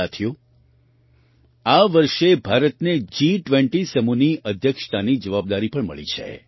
સાથીઓ આ વર્ષે ભારતને જી20 સમૂહની અધ્યક્ષતાની જવાબદારી પણ મળી છે